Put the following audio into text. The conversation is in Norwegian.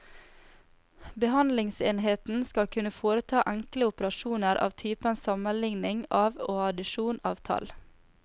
Behandlingsenheten skal kunne foreta enkle operasjoner av typen sammenligning av og addisjon av tall.